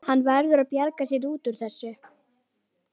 Hann verður að bjarga sér út úr þessu.